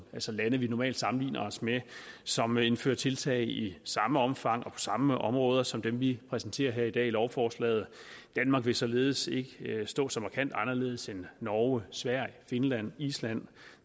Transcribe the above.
altså lande vi normalt sammenligner os med som indfører tiltag i samme omfang og samme områder som dem vi præsenterer her i dag i lovforslaget danmark vil således ikke stå så markant anderledes end norge sverige finland island